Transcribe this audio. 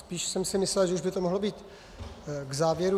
Spíš jsem si myslel, že už by to mohlo jít k závěru.